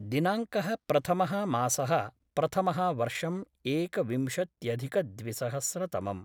दिनाङ्कः प्रथमः मासः प्रथमः वर्षं एकविंशत्यधिकद्विसहस्रतमम्